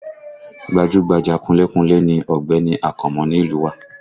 Gbajúgbajà kunlé kunlé ni Ọ̀gbẹ́ni Akànmú ni ìlú u wa